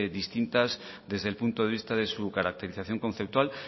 distintas desde el punto de vista de su caracterización conceptual